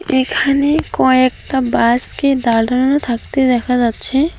এখানে কয়েকটা বাসকে দালানো থাকতে দেখা যাচ্ছে।